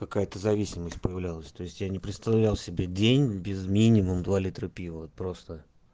пока эта зависимость проявлялась то есть я не представлял себе день без минимум два литра пива вот просто